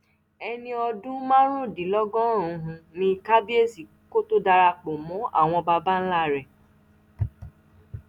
ẹni ọdún márùndínlọgọrùn-ún ní kábíyèsí kó tóó darapọ mọ àwọn baba ńlá rẹ̀